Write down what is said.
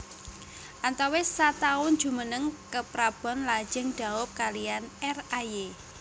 Antawis sataun jumeneng keprabon lajeng daup kaliyan R Ay